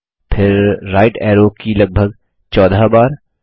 फिर right arrow की लगभग 14 बार